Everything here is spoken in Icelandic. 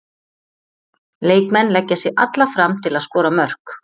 Leikmenn leggja sig alla fram til að skora mörk.